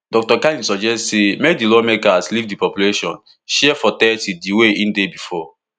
dr kani suggest say make di lawmakers leave di population share for thirty di way e dey before